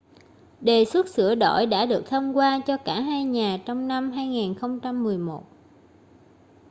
đề xuất sửa đổi đã được thông qua cho cả hai nhà trong năm 2011